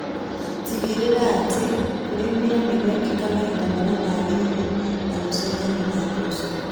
tigĩrĩra atĩ kũrĩmĩra nĩgwekĩka mahinda marĩa magĩrĩire na gũchenjanio na mboco.